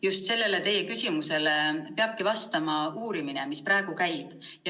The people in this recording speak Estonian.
Just sellele teie küsimusele peabki vastama uurimine, mis praegu käib.